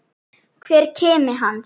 Hver kimi hans.